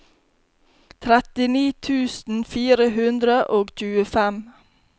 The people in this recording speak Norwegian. trettini tusen fire hundre og tjuefem